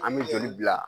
An bɛ joli bila